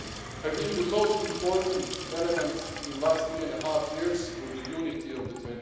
I think the most important element in the last three and a half years, was the unity of